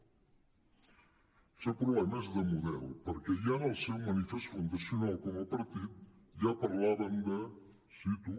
el seu problema és de model perquè ja en el seu manifest fundacional com a par·tit ja parlaven de cito